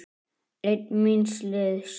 Einn míns liðs.